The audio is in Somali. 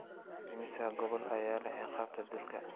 Immisa gobol ayaa leh ciqaabta dilka?